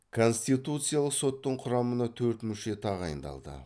конституциялық соттың құрамына төрт мүше тағайындалды